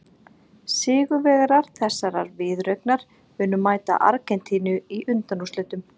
Sigurvegarar þessarar viðureignar munu mæta Argentínu í undanúrslitum.